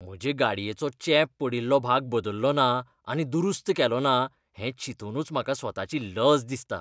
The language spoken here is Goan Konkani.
म्हजे गाडयेचो चेंप पडिल्लो भाग बदल्लो ना आनी दुरुस्त केलो ना हें चिंतुनूच म्हाका स्वताची लज दिसता.